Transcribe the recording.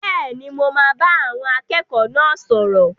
Bẹ́ẹ̀ni, mo máa bá àwọn akẹ́kọ̀ọ́ náà sọ̀rọ̀.